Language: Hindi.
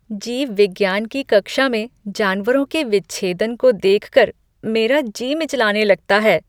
जीव विज्ञान की कक्षा में जानवरों के विच्छेदन को देखकर मेरा जी मिचलाने लगता है।